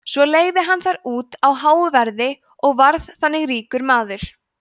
svo leigði hann þær út á háu verði og varð þannig ríkur maður